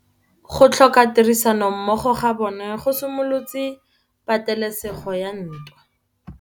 Go tlhoka tirsanommogo ga bone go simolotse patêlêsêgô ya ntwa.